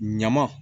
Ɲama